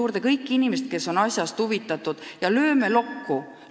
Kutsuge kokku kõik inimesed, kes on asjast huvitatud, ja lööme lokku!